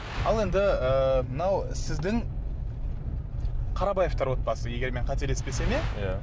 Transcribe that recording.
ал енді ыыы мынау сіздің қарабаевтар отбасы егер мен қателеспесем иә иә